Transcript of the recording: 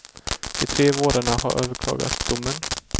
De tre vårdarna har överklagat domen.